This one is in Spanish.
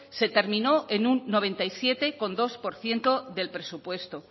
se terminó en un noventa y siete coma dos por ciento del presupuesto